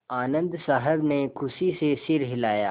आनन्द साहब ने खुशी से सिर हिलाया